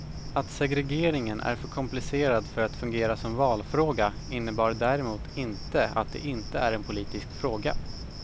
Att segregeringen är för komplicerad för att fungera som valfråga innebär däremot inte att det inte är en politisk fråga.